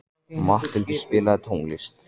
Matthildur, spilaðu tónlist.